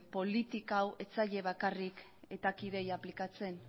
politika hau ez zaie bakarrik eta kideei aplikatzen